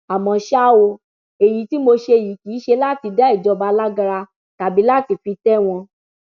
àmọ ṣá o èyí tí mo ṣe yìí kì í ṣe láti dá ìjọba lágara tàbí láti fi tẹ wọn